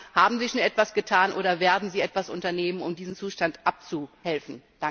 Ich frage Haben Sie schon etwas getan, oder werden Sie etwas unternehmen, um diesem Zustand abzuhelfen?